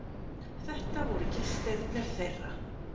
Þetta voru gestirnir þeirra.